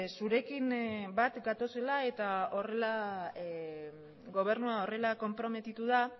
zurekin bat gatozela eta horrela gobernua horrela konprometitu da